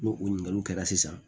N'o o ɲininkaliw kɛra sisan